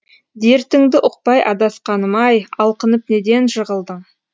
дертіңді ұқпай адасқаным ай алқынып неден жығылдың